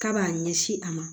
K'a b'a ɲɛsin a ma